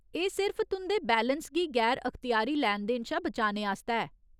एह् सिर्फ तुं'दे बैलेंस गी गैर अखत्यारी लैन देन शा बचाने आस्तै ऐ।